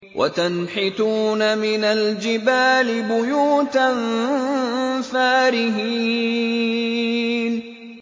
وَتَنْحِتُونَ مِنَ الْجِبَالِ بُيُوتًا فَارِهِينَ